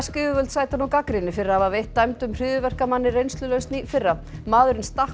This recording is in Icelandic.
yfirvöld sæta nú gagnrýni fyrir að hafa veitt dæmdum hryðjuverkamanni reynslulausn í fyrra maðurinn stakk